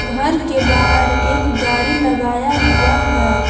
घर के बाहर एक गाड़ी लगाया हुआ है।